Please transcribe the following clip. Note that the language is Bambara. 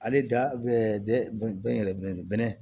Ale da bɛ yɛlɛ bɛnɛ